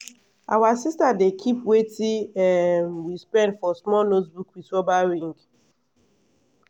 our sister dey keep watin um we spend for small notebook with rubber ring.